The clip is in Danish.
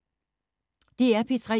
DR P3